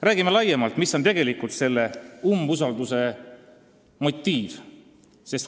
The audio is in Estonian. Räägime täpsemalt, mis on tegelikult selle umbusaldusavalduse motiiv.